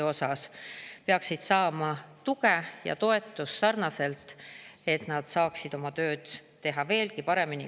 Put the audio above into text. Nad peaksid saama tuge ja toetust sarnaselt, et nad saaksid oma tööd teha senisest veelgi paremini.